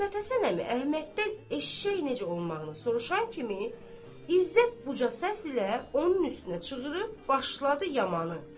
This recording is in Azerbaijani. Məmmədhəsən əmi Əhməddən eşşək necə olmağını soruşan kimi İzzət uca səslə onun üstünə çığırıb başladı yamanı.